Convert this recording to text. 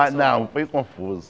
Ah, não, foi confuso.